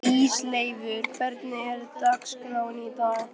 Ísleifur, hvernig er dagskráin í dag?